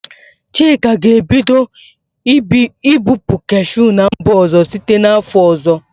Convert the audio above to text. Chika ga-ebido ibupu kashụ n'mba ọzọ site n 'afọ ọzọ.